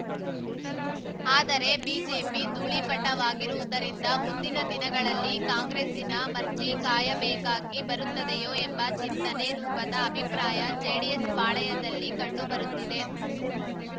ಆದರೆ ಬಿಜೆಪಿ ಧೂಳೀಪಟವಾಗಿರುವುದರಿಂದ ಮುಂದಿನ ದಿನಗಳಲ್ಲಿ ಕಾಂಗ್ರೆಸ್ಸಿನ ಮರ್ಜಿ ಕಾಯಬೇಕಾಗಿ ಬರುತ್ತದೆಯೋ ಎಂಬ ಚಿಂತನೆ ರೂಪದ ಅಭಿಪ್ರಾಯ ಜೆಡಿಎಸ್‌ ಪಾಳೆಯದಲ್ಲಿ ಕಂಡು ಬರುತ್ತಿದೆ